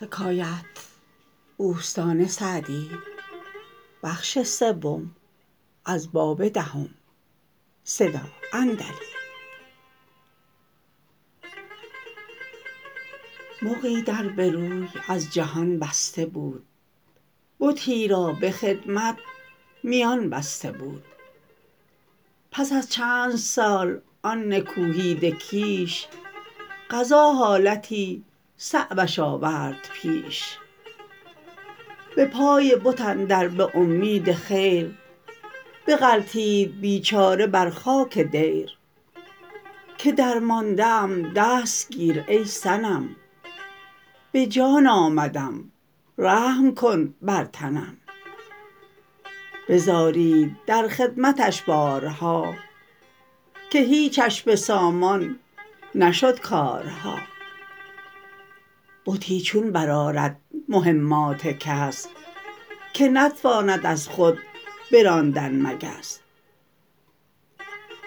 مغی در به روی از جهان بسته بود بتی را به خدمت میان بسته بود پس از چندسال آن نکوهیده کیش قضا حالتی صعبش آورد پیش به پای بت اندر به امید خیر بغلتید بیچاره بر خاک دیر که درمانده ام دست گیر ای صنم به جان آمدم رحم کن بر تنم بزارید در خدمتش بارها که هیچش به سامان نشد کارها بتی چون برآرد مهمات کس که نتواند از خود براندن مگس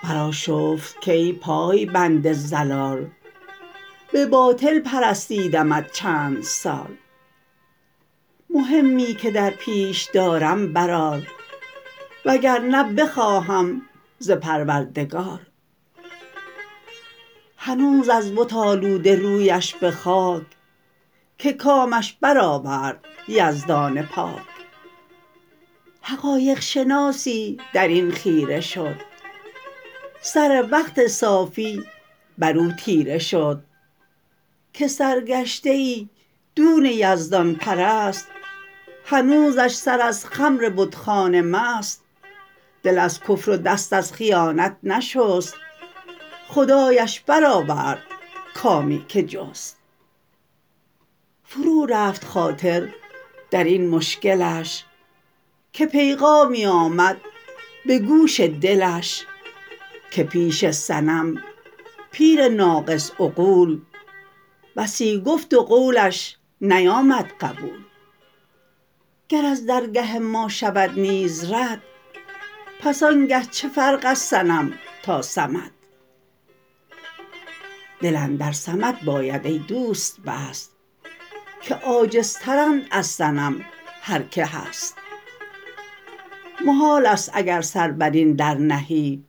برآشفت کای پای بند ضلال به باطل پرستیدمت چندسال مهمی که درپیش دارم برآر و گر نه بخواهم ز پروردگار هنوز از بت آلوده رویش به خاک که کامش برآورد یزدان پاک حقایق شناسی در این خیره شد سر وقت صافی بر او تیره شد که سرگشته ای دون یزدان پرست هنوزش سر از خمر بتخانه مست دل از کفر و دست از خیانت نشست خدایش برآورد کامی که جست فرو رفت خاطر در این مشکلش که پیغامی آمد به گوش دلش که پیش صنم پیر ناقص عقول بسی گفت و قولش نیامد قبول گر از درگه ما شود نیز رد پس آنگه چه فرق از صنم تا صمد دل اندر صمد باید ای دوست بست که عاجزتر اند از صنم هر که هست محال است اگر سر بر این در نهی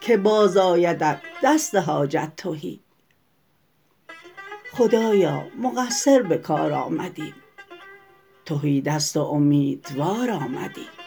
که باز آیدت دست حاجت تهی خدایا مقصر به کار آمدیم تهی دست و امیدوار آمدیم